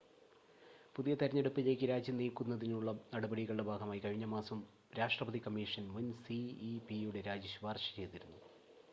പുതിയ തെരഞ്ഞെടുപ്പുകളിലേക്ക് രാജ്യം നീക്കുന്നതിനുള്ള നടപടികളുടെ ഭാഗമായി കഴിഞ്ഞ മാസം രാഷ്ട്രപതി കമ്മീഷൻ മുൻ സിഇപിയുടെ രാജി ശുപാർശ ചെയ്തിരുന്നു